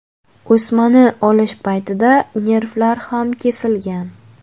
O‘smani olish paytida nervlar ham kesilgan.